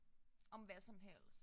Om hvad som helst